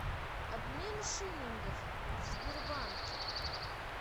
обмен шиллингов в сбербанке